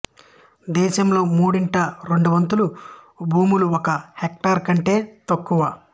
దేశంలో మూడింట రెండొంతుల భూములు ఒక హెక్టార్ కంటే తక్కువ